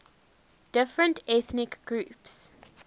different ethnic groups